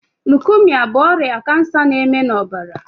Lukemia bụ ọrịa kansa na- eme na ọbara